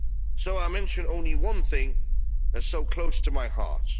it. So I'll mention only one thing that's so close to my heart.